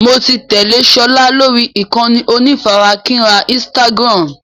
Mo ti tẹ́lé sọlá lórí ìkànnì onífarakínra Instagram.